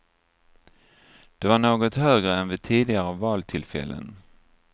Det var något högre än vid tidigare valtillfällen.